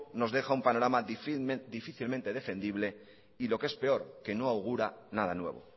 nos deja un panorama difícilmente defendible y lo que es peor que no augura nada nuevo